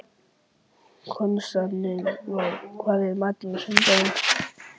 Konstantínus, hvað er í matinn á sunnudaginn?